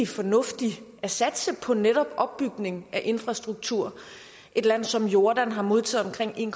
fornuftigt at satse på netop opbygning af infrastruktur et land som jordan har modtaget omkring en